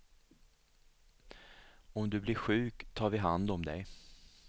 Om du blir sjuk, tar vi hand om dig.